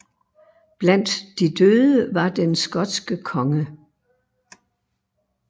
Blandt de døde var den skotske konge